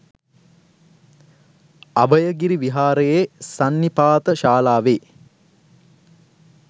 අභයගිරි විහාරයේ සන්නිපාත ශාලාවේ